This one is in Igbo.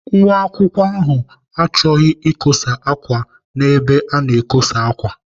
Nwa akwụkwọ ahụ chọghị ikosa ákwà n'ebe a na-ekosa ákwà.